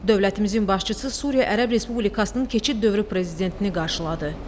Dövlətimizin başçısı Suriya Ərəb Respublikasının keçid dövrü prezidentini qarşıladı.